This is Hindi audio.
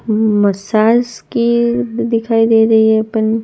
उम्म मसाज की दिखाई दे रही है पन--